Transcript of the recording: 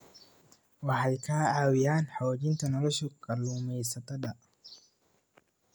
Waxay ka caawiyaan xoojinta nolosha kalluumaysatada.